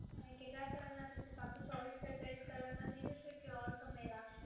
અને કેટલા સમયમાં થઈ જશે? પાક્કું ચોવીસથી અડતાલીશ કલાકમાં થઈ જશે કે ઓર સમય લાગશે?